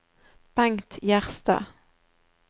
Bengt Gjerstad